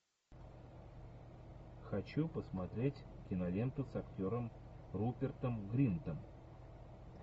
хочу посмотреть киноленту с актером рупертом гринтом